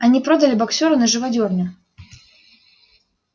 они продали боксёра на живодёрню